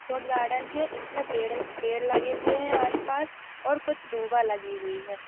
Shot garden है इसमें पेड़-पेड़ लगे हुए है आस-पास और कुछ दुबा लगी हुई है।